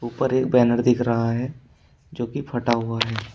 ऊपर एक बैनर दिख रहा है जो की फटा हुआ है।